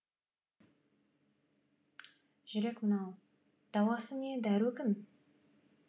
жүрек мынау дауасы не дәру кім